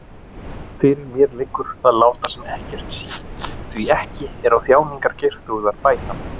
Fyrir mér liggur að láta sem ekkert sé, því ekki er á þjáningar Geirþrúðar bætandi.